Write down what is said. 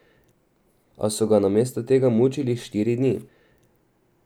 A so ga namesto tega mučili štiri dni.